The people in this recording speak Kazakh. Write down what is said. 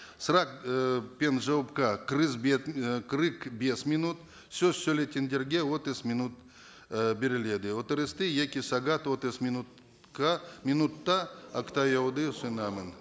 сұрақ ы пен жауапқа қырық бес минут сөз сөйлейтіндерге отыз минут ы беріледі отырысты екі сағат отыз минутқа минутта ұсынамын